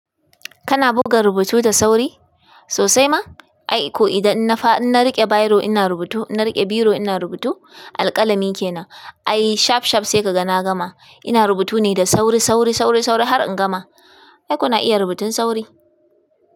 Kana buga rubutu da sauri sosai ma? Ai ko idan in na fa, in na riƙe biro ina rubutu, in na riƙe biro ina rubutu, alƙalami ke na ai shaf shaf sai ka ga na gama. Ina rubutu ne da sauri, sauri, sauri, sauri har in gama. Ai kuna iya rubutun sauri?